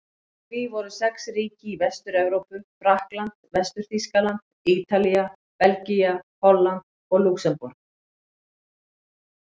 Í því voru sex ríki í Vestur-Evrópu: Frakkland, Vestur-Þýskaland, Ítalía, Belgía, Holland og Lúxemborg.